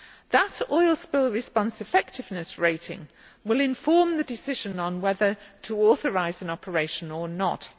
That oil spill response effectiveness rating will inform the decision on whether to authorise an operation or not.